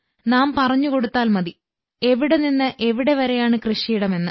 നാം പറഞ്ഞുകൊടുത്താൽ മതി എവിടെ നിന്ന് എവിടെ വരെയാണ് കൃഷിയിടം എന്ന്